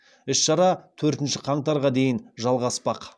іс шара төртінші қаңтарға дейін жалғаспақ